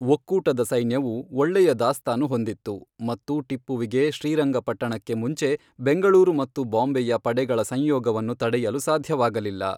ಒಕ್ಕೂಟದ ಸೈನ್ಯವು ಒಳ್ಳೆಯ ದಾಸ್ತಾನು ಹೊಂದಿತ್ತು, ಮತ್ತು ಟಿಪ್ಪುವಿಗೆ ಶ್ರೀರಂಗಪಟ್ಟಣಕ್ಕೆ ಮುಂಚೆ ಬೆಂಗಳೂರು ಮತ್ತು ಬಾಂಬೆಯ ಪಡೆಗಳ ಸಂಯೋಗವನ್ನು ತಡೆಯಲು ಸಾಧ್ಯವಾಗಲಿಲ್ಲ.